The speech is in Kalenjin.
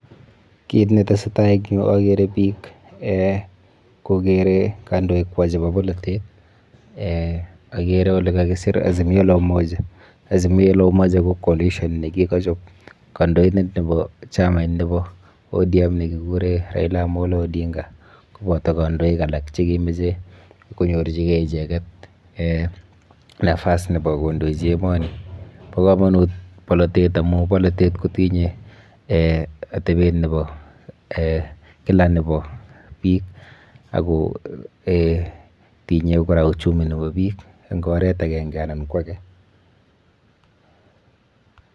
Kiit ne tesetai eng yuu ageere biik kogeere kandoikwak chebo polotet, ageere ole kakiseer Azimio la Umoja, Azimio la Umoja ko coalition ne kikachop kandoitet nebo chamait nebo ODM nekikure Raila Amollo Odinga koboto kandoik alak che kimachei konyorchikei icheket nafas nebo kondoichi emoni. Bo kamanut polotet amun polotet kotinyei atebet nebo kila nebo biik ako tinyei kora uchumi nebo biik eng oret agenge anan ko age.